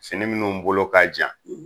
Fini minnu bolo ka jan